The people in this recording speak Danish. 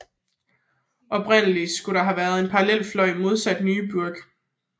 Oprindeligt skulle der have været en parallel fløj modsat Neue Burg